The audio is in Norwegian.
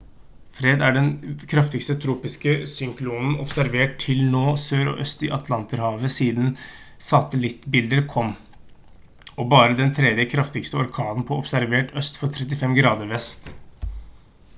fred er den kraftigste tropiske syklonen observert til nå sør og øst i atlanterhavet siden satellittbilder kom og bare den 3. kraftigste orkanen på observert øst for 35 grader vest